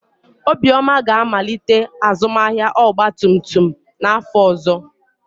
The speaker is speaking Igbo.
Obioma ga-amalite azụmahịa ọgba tum tum n'afọ ọzọ.